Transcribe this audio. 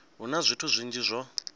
hu na zwithu zwinzhi zwo